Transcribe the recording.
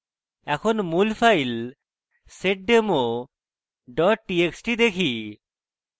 এখন মূল file seddemo dot txt দেখি